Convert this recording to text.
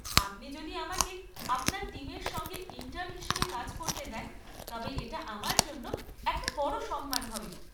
আপনি যদি আমাকে আপনার টিমের সঙ্গে ইন্টার্ন হিসেবে কাজ করতে দেন তবে এটা আমার জন্য একটা বড় সম্মান হবে।